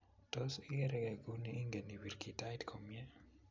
Tos, igeeregei Kuni ingeen ipiir kitait komyei?